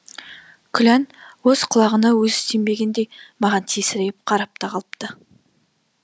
күлән өз құлағына өзі сенбегендей маған тесірейіп қарап та қалыпты